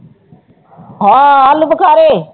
ਹਾਂ ਆਲੂ ਬਖਾਰੇ